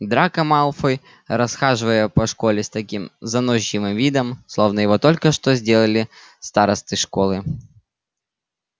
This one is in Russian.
драко малфой расхаживал по школе с таким заносчивым видом словно его только что сделали старостой школы